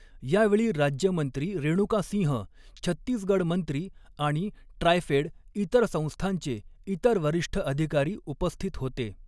यावेळी राज्यमंत्री रेणुका सिंह, छत्तीसगड मंत्री आणि ट्रायफेड इतर संस्थांचे इतर वरिष्ठ अधिकारी उपस्थित होते.